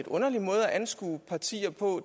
underlig måde at anskue partier